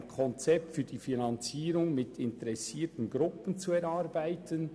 ... ein Konzept für die Finanzierung mit interessierten Gruppen zu erarbeiten.